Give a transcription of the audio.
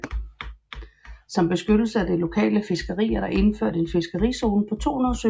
Til beskyttelse af det lokale fiskeri er der indført en fiskerizone på 200 sømil